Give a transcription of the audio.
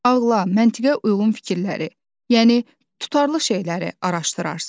Ağla, məntiqə uyğun fikirləri, yəni tutarlı şeyləri araşdırarsız.